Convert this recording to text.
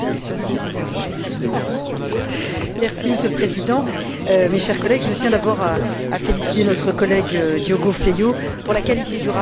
Monsieur le Président, mes chers collègues, je tiens d'abord à féliciter notre collègue Diogo Feio pour la qualité du rapport et pour les propositions ambitieuses qu'il contient.